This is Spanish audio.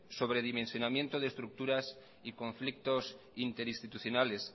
sobredimensionamiento de estructuras y conflictos interinstitucionales